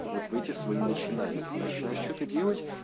вот в эти свои начинания ты начинаешь что-то делать